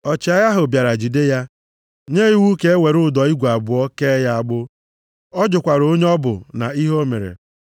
Ọchịagha ahụ bịara jide ya, nye iwu ka e were ụdọ igwe abụọ kee ya agbụ, ọ jụkwara onye ọ bụ na ihe o mere.